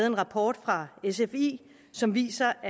en rapport fra sfi som viser